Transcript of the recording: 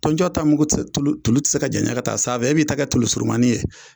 Tɔnjɔn ta mugu tɛ tulu tulu tɛ se ka janya ka taa sanfɛ e bi ta kɛ tulu surunmani ye.